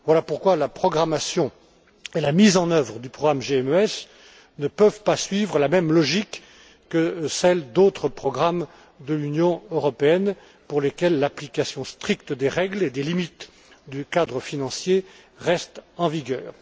Voilà pourquoi la programmation et la mise en œuvre du programme GMES ne peuvent pas suivre la même logique que celle d'autres programmes de l'Union européenne pour lesquels l'application stricte des règles et des limites du cadre financier reste en vigueur.